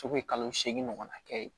kalo seegin ɲɔgɔnna kɛ ye